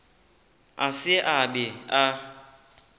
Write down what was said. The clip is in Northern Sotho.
a se a be a